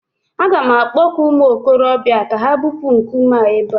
A ga m akpọku ụmụ okorobịa ka ha bupuo a nkume a ebe